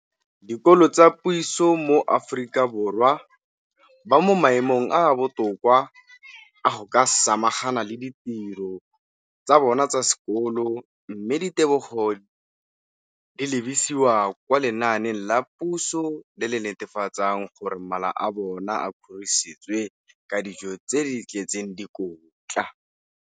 dikolo tsa puso mo Aforika Borwa ba mo maemong a a botoka a go ka samagana le ditiro tsa bona tsa sekolo, mme ditebogo di lebisiwa kwa lenaaneng la puso le le netefatsang gore mala a bona a kgorisitswe ka dijo tse di tletseng dikotla.